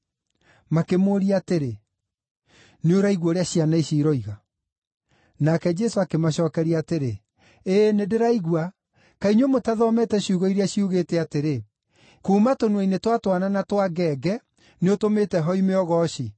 Makĩmũũria atĩrĩ, “Nĩũraigua ũrĩa ciana ici iroiga?” Nake Jesũ akĩmacookeria atĩrĩ, “Ĩĩ, nĩndĩraigua. Kaĩ inyuĩ mũtathomete ciugo iria ciugĩte atĩrĩ, “ ‘Kuuma tũnua-inĩ twa twana na twa ngenge nĩũtũmĩte hoime ũgooci’?”